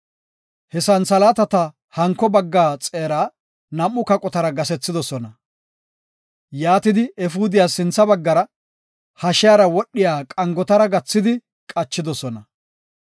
He santhalaatata, hanko bagga xeeraa, nam7u kaqotara gasethidosona. Yaatidi, efuudiyas sintha baggara, hashiyara wodhiya qangotara gathidi qachidosona.